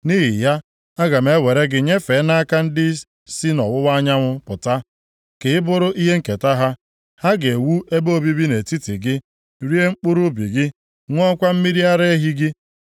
nʼihi ya, aga m ewere gị nyefee nʼaka ndị si nʼọwụwa anyanwụ pụta, ka ị bụrụ ihe nketa ha. Ha ga-ewu ebe obibi nʼetiti gị, rie mkpụrụ ubi gị, ṅụọkwa mmiri ara ehi gị.